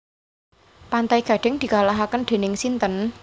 Pantai Gading dikalahaken dening sinten?